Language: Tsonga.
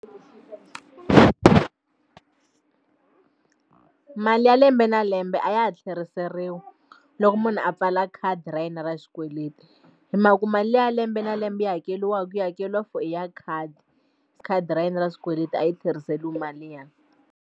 Mali ya lembe na lembe a ya ha tlheriseriwi loko munhu a pfala khadi ra yena ra xikweleti hi mhaka ku mali ya lembe na lembe yi hakeriwaku yi hakeriwa for i ya khadi khadi ra yena ra xikweleti a yi tlheriseriwi mali liya.